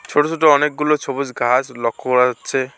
ছোট ছোট অনেকগুলো ছবুজ গাছ লক্ষ করা যাচ্ছে।